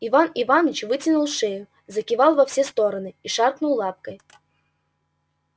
иван иваныч вытянул шею закивал во все стороны и шаркнул лапкой